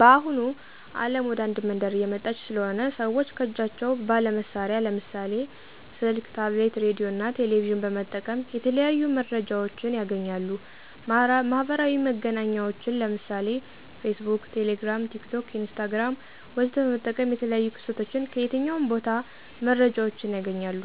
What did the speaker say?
በአሁኑ አለም ወደ አንድ መንደር እየመጣች ስለሆነ ሰወች ከጃቸው ባለ መሳሪያ ለምሳሌ፦ ስልክ፣ ታብሌት፣ ሬዲዮ፣ እና ቴሌቬዥን በመጠቀም የተለያዩ መረጃወችን ያገኛሉ። ማህበራዊ መገናኛወችን ለምሳሌ፦ ፌስቡክ፣ ቴሌግራም፣ ቲክቶክ፣ ኢንስታግራም ወዘተ በመጠቀም የተለያዮ ክስተቶችን ከየትኛውም ቦታ መረጃወችን ያገኛሉ።